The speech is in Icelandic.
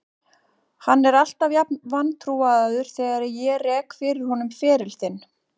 Hann er alltaf jafn vantrúaður þegar ég rek fyrir honum feril þinn.